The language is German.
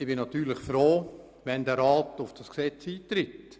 Ich bin natürlich froh, wenn der Rat auf das Gesetz eintritt.